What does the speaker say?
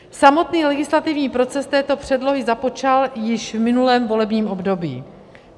Samotný legislativní proces této předlohy započal již v minulém volebním období.